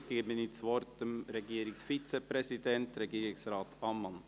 Ich gebe das Wort dem Regierungsvizepräsidenten, Regierungsrat Ammann.